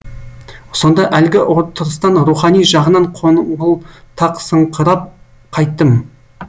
сонда әлгі отырыстан рухани жағынан қоңылтақсыңықырап қайттым